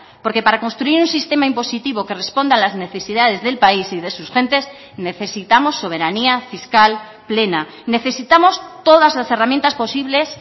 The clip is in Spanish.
porque para construir un sistema impositivo que responda a las necesidades del país y de sus gentes necesitamos soberanía fiscal plena necesitamos todas las herramientas posibles